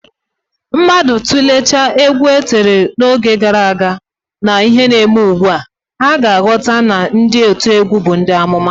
Mmadụ tụleechaa egwu e tiri n'oge gara aga na ihe na-eme ugbu a, ha ga-aghọta na ndị otiegwu bụ ndị amụma